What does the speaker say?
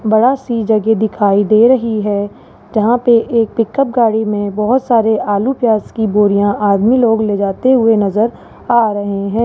बड़ा सी जगह दिखाई दे रही है जहां पे एक पिकअप गाड़ी में बहोत सारी आलू प्याज की बोरिया आदमी लोग ले जाते हुए नजर आ रहे हैं।